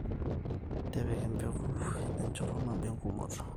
tipika empeku enchoto nabo engumoto